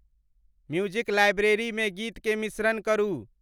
music library में गीत के मिश्रण करु